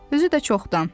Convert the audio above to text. Özü də çoxdan.